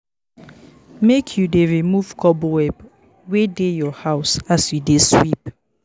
Make you dey remove cobweb wey dey your house as you dey sweep